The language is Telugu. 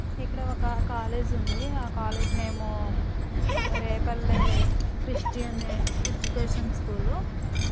ఇక్కడా ఒక కాలేజ్ ఉంది ఆ కాలేజీ నేము రేపల్లె క్రిస్టియన్ ఎడ్యుకేషన్ స్కూల్ .